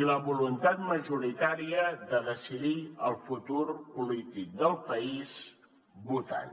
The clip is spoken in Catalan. i la voluntat majoritària de decidir el futur polític del país votant